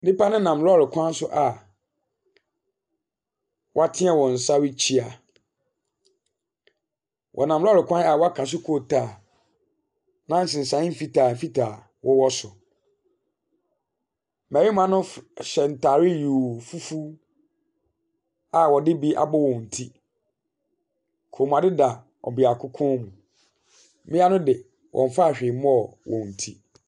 Nipa no nam lɔri kwan so a watene wɔn nsa rekyea. Ɔnam lɔri kwan a waka so coal tar na nsensan fitaa fitaa ɛwɔ so. Mmarima no hyɛ ntaade yoo fufu a wɔde bi abɔ wɔn ti. Kɔnmuade da ɔbiako kɔn mo. Mmia ne de wɔnnfaa whee mɔɔ wɔn ti.